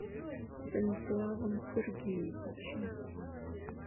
станиславом сергеевичем